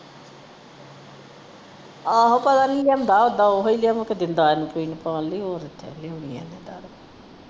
ਆਹੋ ਪਤਾ ਨਹੀਂ ਲਿਆਉਂਦਾ ਓਦਾਂ ਓਹੀ ਲਿਆਉਂਦਾ ਓਦਾਂ ਇਹੋ ਲਿਆ ਕੇ ਦਿੰਦਾ ਪੀਣ ਪਾਣ ਲਈ ਹੋਰ ਜਾ ਕੇ।